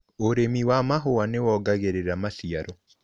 ũrĩmi wa mahũa nĩwongagĩrĩra maciaro.